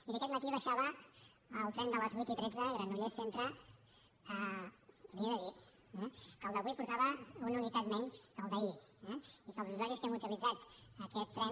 miri aquest matí baixava al tren de les vuit i tretze granollers centre i li he de dir eh que el d’avui portava una unitat menys que el d’ahir i que els usuaris que hem utilitzat aquest tren